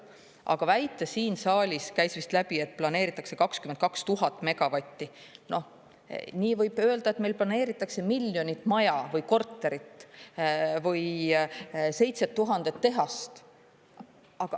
Aga väita siin saalis, käis vist läbi, et planeeritakse 22 000 megavatti – nii võib öelda, et meil planeeritakse miljonit maja või korterit või 7000 tehast.